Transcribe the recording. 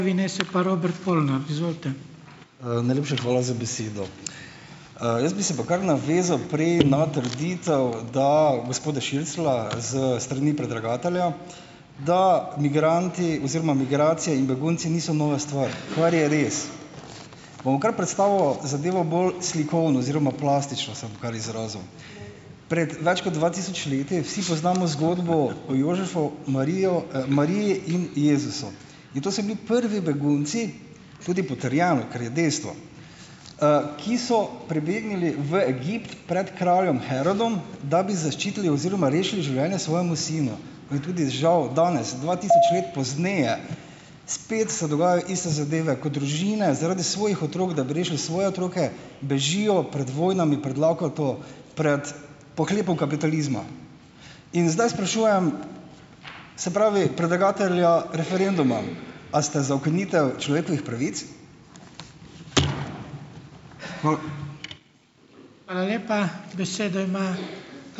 Najlepša hvala za besedo. Jaz bi se pa kar navezal pri, na trditev, da, gospoda Širclja s strani predlagatelja, da migranti oziroma migracije in begunci niso nova stvar, kar je res. Bom kar predstavil zadevo bolj slikovno oziroma plastično, se bom kar izrazil. Pred več kot dva tisoč leti, vsi poznamo zgodbo o Jožefu, Marijo, Mariji in Jezusu. In to so bili prvi begunci, tudi potrjeno, kar je dejstvo, ki so pribegnili v Egipt pred kraljem Herodom, da bi zaščitili oziroma rešili življenje svojemu sinu. In tudi žal danes dva tisoč pozneje spet se dogajajo iste zadeve, ko družine zaradi svojih otrok, da bi rešili svoje otroke, bežijo pred vojnami, pred lakoto, pred pohlepom kapitalizma. In zdaj sprašujem, se pravi, predlagatelja referenduma, a ste za ukinitev človekovih pravic. Hvala.